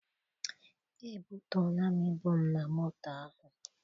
Ebutuola m ibu m na moto ahụ.